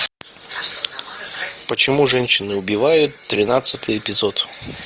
почему женщины убивают тринадцатый эпизод